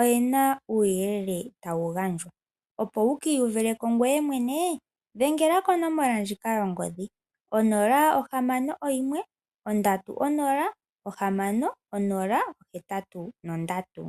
oyena uuyelele tawu gandja opo wukiihuvithileko ngoye mwene dhenga konomola yongodhi 061306083.